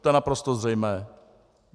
To je naprosto zřejmé.